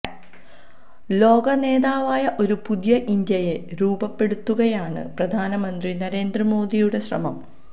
ലോക നേതാവായ ഒരു പുതിയ ഇന്ത്യയെ രൂപപ്പെടുത്തുകയാണ് പ്രധാനമന്ത്രി നരേന്ദ്ര മോദിയുടെ ശ്രമം